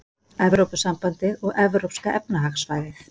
Evrópusambandið og Evrópska efnahagssvæðið.